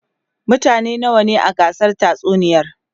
mutane nawa ne a gasar tatsuniyar?